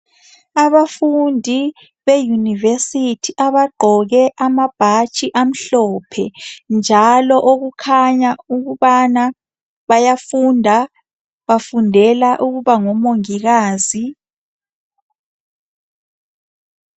Abafundi beyunivesithi abagqoke amabhatshi amhlophe njalo okukhanya ukubana bayafunda bafundela ukuba ngomongikazi.